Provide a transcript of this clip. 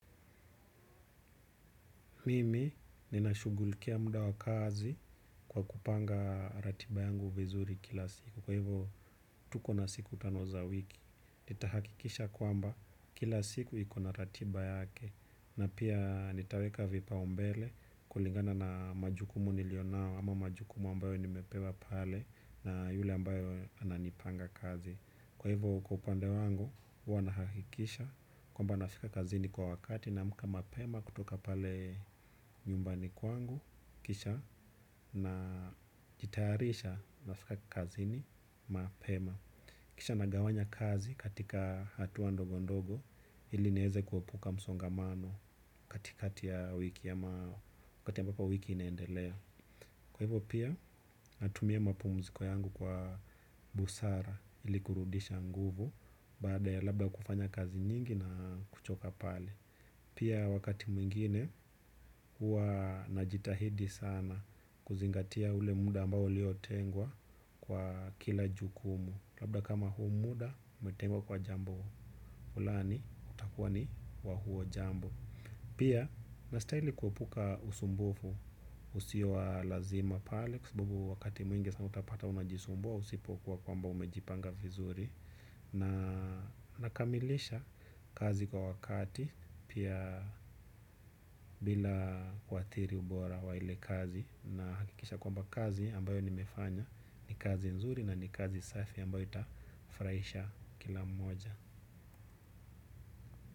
Mimi, ninashughulikia muda wa kazi kwa kupanga ratiba yangu vizuri kila siku. Kwa hivyo, tuko na siku tano za wiki. Nitahakikisha kwamba kila siku iko na ratiba yake. Na pia nitaweka vipaumbele kulingana na majukumu nilionao ama majukumu ambayo nimepewa pale na yule ambaye ananipanga kazi. Kwa hivyo kwa upande wangu huwa nahakikisha kwamba nafika kazini kwa wakati naamka mapema kutoka pale nyumbani kwangu kisha najitayarisha nafika kazini mapema. Kisha nagawanya kazi katika hatua ndogo ndogo ili nieze kuepuka msongamano katikati ya wiki ama wakati ambako wiki inaendelea. Kwa hivyo pia natumia mapumziko yangu kwa busara ili kurudisha nguvu baada ya labda kufanya kazi nyingi na kuchoka pale. Pia wakati mwingine hua najitahidi sana kuzingatia ule muda ambao uliotengwa kwa kila jukumu. Labda kama huu muda imetengwa kwa jambo. Fulani utakuwa ni wa huo jambo. Pia nastahili kuapuka usumbufu usio wa lazima pale kwa sababu wakati mwingi sana utapata unajisumbua usipokuwa kwamba umejipanga vizuri na nakamilisha kazi kwa wakati pia bila kuathiri ubora wa ile kazi nahakikisha kwamba kazi ambayo nimefanya ni kazi nzuri na ni kazi safi ambayo itafurahisha kila mmoja.